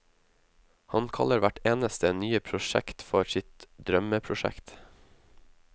Han kaller hvert eneste nye prosjekt for sitt drømmeprosjekt.